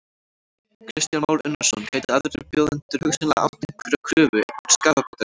Kristján Már Unnarsson: Gætu aðrir bjóðendur hugsanlega átt einhverja kröfu, einhvern skaðabótarétt?